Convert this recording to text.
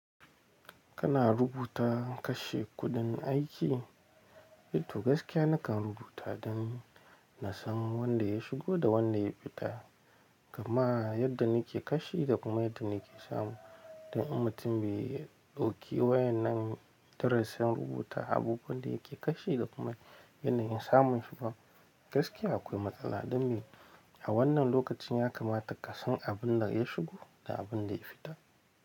Kana rubuta kashe kuɗin aiki? Eh to, gaskiya nakan rubuta don na san wanda ya shigo da wanda ya fita, kuma yadda nike kashe da kuma yadda nike samu. Dan in mutum bai ɗauki wayan nan darasin rubuta abubuwan da yake kashe da kuma yanayin samun shi ba. Gaskiya akwai matsala don me? A wannan lokacin ya kamata kasan abin da ya shigo da abin da ya fita.